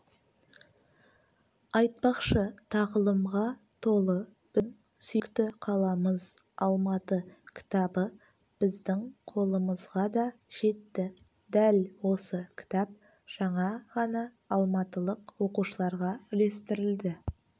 айтпақшы тағылымға толы біздің сүйікті қаламыз алматы кітабы біздің қолымызға да жетті дәл осы кітап жаңа ғана алматылық оқушыларға үлестірілді